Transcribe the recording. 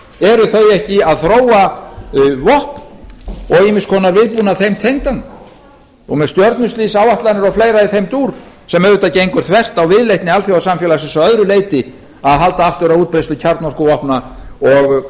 eru þau ekki að þróa vopn og ýmiss konar vígbúnað þeim tengdan og með stjörnustríðsáætlanir og fleira í þeim dúr sem auðvitað gengur þvert á viðleitni alþjóðasamfélagsins að öðru leyti að halda aftur af útbreiðslu kjarnorkuvopna og